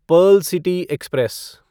Perl city express